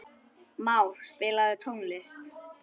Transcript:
Már, spilaðu tónlist.